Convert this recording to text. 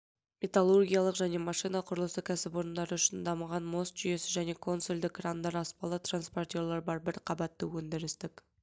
металлургиялық және машина құрылысы кәсіпорындары үшін дамыған мост жүйесі және консольды крандар аспалы транспортерлар бар бір қабатты өндірістік